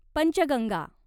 Panchganga